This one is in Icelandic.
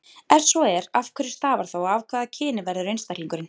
Ef svo er, af hverju stafar það og af hvaða kyni verður einstaklingurinn?